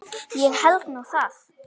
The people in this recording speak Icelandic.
Ég held nú það!